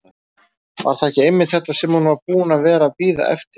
Var það ekki einmitt þetta sem hún var búin að vera að bíða eftir?